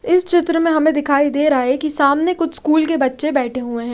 इस चित्र में हमें दिखाई दे रहा है कि सामने कुछ स्कूल के बच्चे बैठे हुए हैं।